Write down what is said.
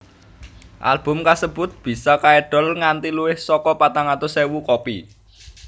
Album kasebut bisa kaedol nganti luwih saka patang atus ewu kopi